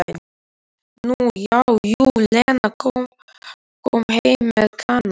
Nú já, jú, Lena kom heim með Kana.